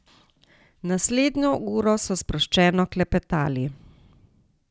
Naslednjo uro so sproščeno klepetali.